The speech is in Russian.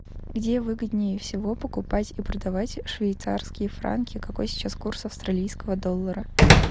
где выгоднее всего покупать и продавать швейцарские франки какой сейчас курс австралийского доллара